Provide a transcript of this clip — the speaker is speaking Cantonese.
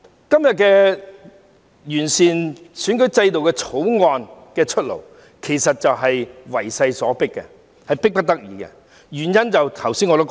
今天，為了完善選舉制度的《條例草案》出爐，其實也是為勢所逼、迫不得已的，原因我剛才也提到了。